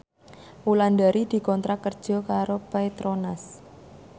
Wulandari dikontrak kerja karo Petronas